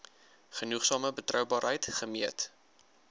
genoegsame betroubaarheid gemeet